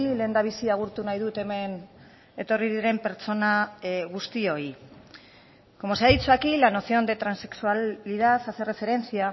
lehendabizi agurtu nahi dut hemen etorri diren pertsona guztioi como se ha dicho aquí la noción de transexualidad hace referencia